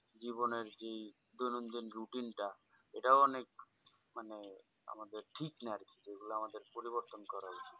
জীবনের যেই ধরুন যেই routine টা এটাও অনেক মানে আমাদের ঠিক না আরকি ওগুলো আমাদের পরিবর্তন করা উচিত